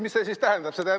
Mis see siis tähendab?